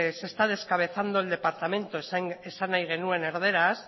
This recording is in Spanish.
se está descabezando el departamento esan nahi genuen erdaraz